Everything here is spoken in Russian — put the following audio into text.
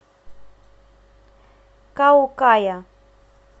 каукая